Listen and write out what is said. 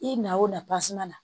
I na o na na